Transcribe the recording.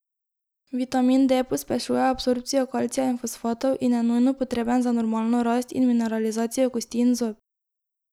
Vitamin D pospešuje absorpcijo kalcija in fosfatov in je nujno potreben za normalno rast in mineralizacijo kosti in zob.